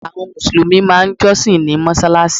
Àwọn mùsùlùmí máà ń jọ́sìn ní mọ́sálásí.